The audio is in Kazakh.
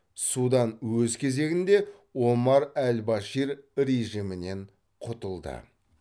судан өз кезегінде омар әл башир режимінен құтылды